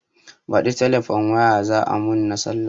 Baɗi telefon waya za a mun na sallah